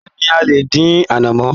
Bẹ́ẹ̀ni, a lè dín anamọ.